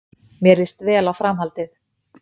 Mér líst vel á framhaldið